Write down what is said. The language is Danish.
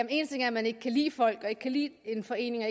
en ting er at man ikke kan lide folk ikke kan lide en forening